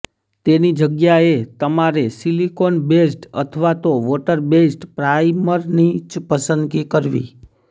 તેની જગ્યાએ તમારે સિલિકોન બેઝ્ડ અથવા તો વોટર બેઝ્ડ પ્રાઇમરની જ પસંદગી કરવી